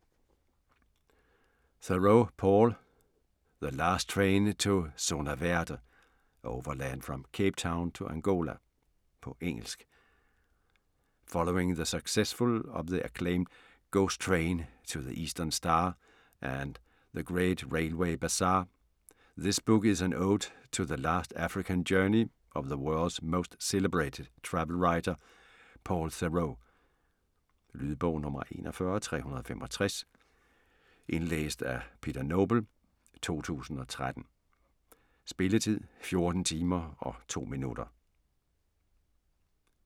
Theroux, Paul: The last train to Zona Verde : overland from Cape Town to Angola På engelsk. Following the success of the acclaimed 'Ghost Train to the Eastern Star' and 'The Great Railway Bazaar', this book is an ode to the last African journey of the world's most celebrated travel writer, Paul Theroux. Lydbog 41365 Indlæst af Peter Noble, 2013. Spilletid: 14 timer, 2 minutter.